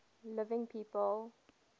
living people